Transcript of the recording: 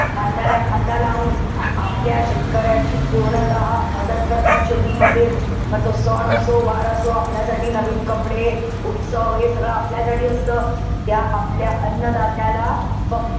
खांद्याला खांदा लावून आपल्या शेतकऱ्याची पूर्णतः मदत करतात शेतीमध्ये. म तो सण असो, वार असो. आपल्यासाठी नवीन कपडे, उत्सव हे सगळं आपल्यासाठी असत. त्या आपल्या अन्नदात्याला फक्त,